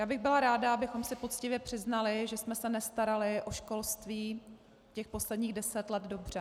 Já bych byla ráda, abychom si poctivě přiznali, že jsme se nestarali o školství těch posledních deset let dobře.